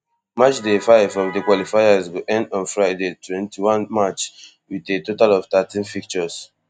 match day five of di qualifiers go end on friday twenty-one march wit a total of thirteen fixtures